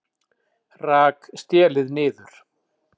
Rak stélið niður